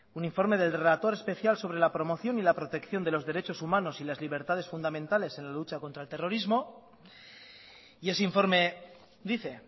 un informe del relator especial sobre la promoción y la protección de los derechos humanos y las libertades fundamentales en la lucha contra el terrorismo y ese informe dice